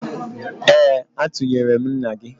Ee, atụnyere m nna gị